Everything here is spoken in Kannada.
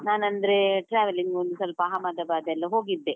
ನಾನಂದ್ರೆ traveling ಒಂದು ಸ್ವಲ್ಪ ಅಹಮದಬಾದ್ ಎಲ್ಲ ಹೋಗಿದ್ದೆ.